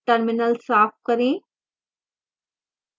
terminal साफ करें